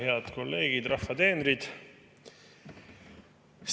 Head kolleegid, rahva teenrid!